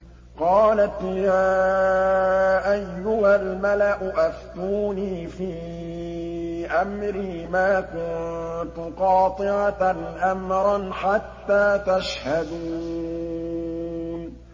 قَالَتْ يَا أَيُّهَا الْمَلَأُ أَفْتُونِي فِي أَمْرِي مَا كُنتُ قَاطِعَةً أَمْرًا حَتَّىٰ تَشْهَدُونِ